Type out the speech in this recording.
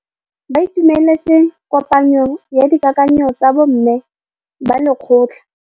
Ba itumeletse kôpanyo ya dikakanyô tsa bo mme ba lekgotla.